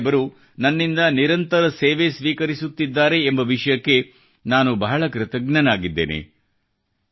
ಗುರು ಸಾಹೇಬರು ನನ್ನಿಂದ ನಿರಂತರ ಸೇವೆ ಸ್ವೀಕರಿಸುತ್ತಿದ್ದಾರೆ ಎಂಬ ವಿಷಯಕ್ಕೆ ನಾನು ಬಹಳ ಕೃತಜ್ಞನಾಗಿದ್ದೇನೆ